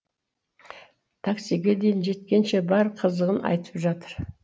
таксиге дейін жеткенше бар қызығын айтып жатыр